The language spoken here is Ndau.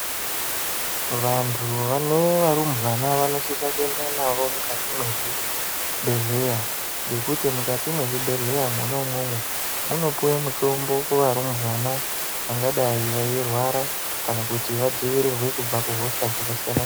Vantu vanevarumbwana vanofisa kuenda navo mukati mezvibhedhleya nekuti mukati mezvibhedhleya munomomu munopiwe mitombo kuvarumbwana vangadayi vairwarwa kana kuti vadzivirirwe kubva kuhosha dzakasiyana.